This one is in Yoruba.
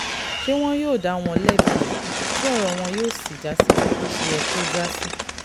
ṣé wọn yóò dá wọn lẹ́bi ní tí ọ̀rọ̀ wọn yóò sì já síkú bó ti yẹ kó já sí